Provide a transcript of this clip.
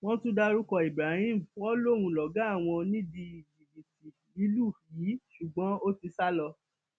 wọn tún dárúkọ ibrahim wọn lóun lọgá àwọn nídìí jìbìtì lílù yìí ṣùgbọn ó ti sá lọ